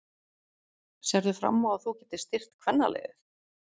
Sérðu fram á að þú getir styrkt kvennaliðið?